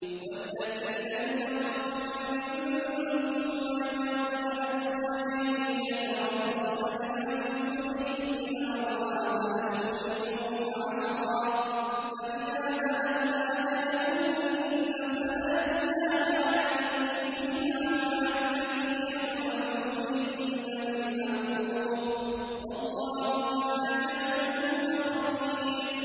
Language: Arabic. وَالَّذِينَ يُتَوَفَّوْنَ مِنكُمْ وَيَذَرُونَ أَزْوَاجًا يَتَرَبَّصْنَ بِأَنفُسِهِنَّ أَرْبَعَةَ أَشْهُرٍ وَعَشْرًا ۖ فَإِذَا بَلَغْنَ أَجَلَهُنَّ فَلَا جُنَاحَ عَلَيْكُمْ فِيمَا فَعَلْنَ فِي أَنفُسِهِنَّ بِالْمَعْرُوفِ ۗ وَاللَّهُ بِمَا تَعْمَلُونَ خَبِيرٌ